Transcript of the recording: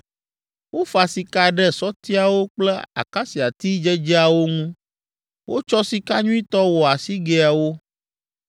Wofa sika ɖe sɔtiawo kple akasiati dzedzeawo ŋu. Wotsɔ sika nyuitɔ wɔ asigɛawo.